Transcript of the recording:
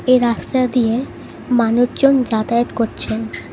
এই রাস্তা দিয়ে মানুচজন যাতায়াত কচ্ছেন ।